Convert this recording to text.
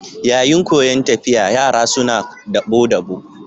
Yayin koyan tafiya, yara suna dabo-dabo.